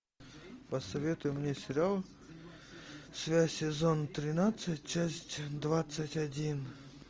посоветуй мне сериал связь сезон тринадцать часть двадцать один